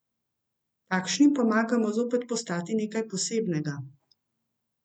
Takšnim pomagamo zopet postati nekaj posebnega.